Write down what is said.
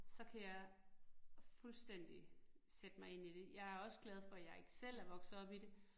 Så kan jeg fuldstændig sætte mig ind i det. Jeg er også glad for, jeg ikke selv er vokset op i det